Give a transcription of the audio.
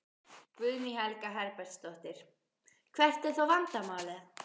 Guðný Helga Herbertsdóttir: Hvert er þá vandamálið?